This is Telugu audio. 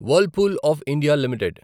Whirlpool of India limited